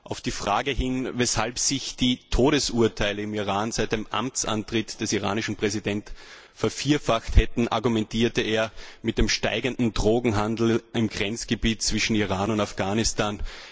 Auf die Frage, weshalb sich die Zahl der Todesurteile im Iran seit dem Amtsantritt des iranischen Präsidenten vervierfacht hätte, argumentierte er mit dem zunehmenden Drogenhandel im Grenzgebiet zwischen dem Iran und Afghanistan.